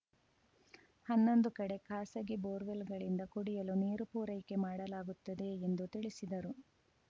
ಹನ್ನೊಂದು ಕಡೆ ಖಾಸಗಿ ಬೋರ್‌ವೆಲ್‌ಗಳಿಂದ ಕುಡಿಯಲು ನೀರು ಪೂರೈಕೆ ಮಾಡಲಾಗುತ್ತದೆ ಎಂದು ತಿಳಿಸಿದರು